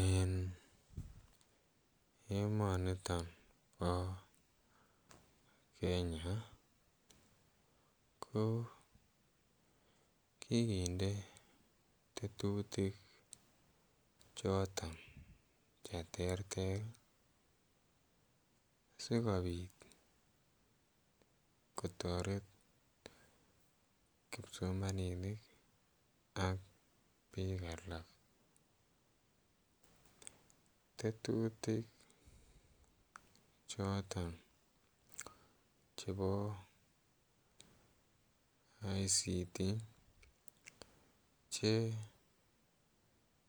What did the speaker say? En emoniton po Kenya ko kikinde tetutik choton che terter sikopit kotaret kipsomaninik ak pik alak. Tetutik choton chebo ICT che